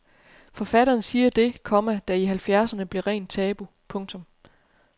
Forfatteren siger det, komma der i halvfjerdserne blev rent tabu. punktum